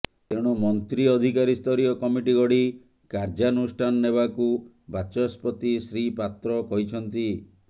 ତେଣୁ ମନ୍ତ୍ରୀ ଅଧିକାରୀ ସ୍ତରୀୟ କମିଟି ଗଢ଼ି କାର୍ୟ୍ୟାନୁଷ୍ଠାନ ନେବାକୁ ବାଚସ୍ପତି ଶ୍ରୀ ପାତ୍ର କହିଛନ୍ତି